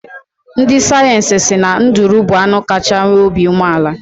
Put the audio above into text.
Ndị sayensị si na nduru bụ anụ kachaa nwee obi umeala.